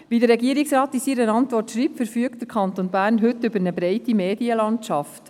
Wie der Regierungsrat in seiner Antwort schreibt, verfügt der Kanton Bern heute über eine breite Medienlandschaft.